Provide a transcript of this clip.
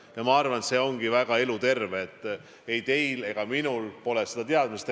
Ja ma arvan, et see ongi väga eluterve, et ei teil ega minul pole seda teadmist.